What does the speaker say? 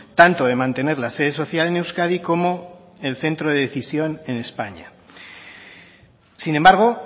tanto de mantener la sede social en euskadi como el centro de decisión en españa sin embargo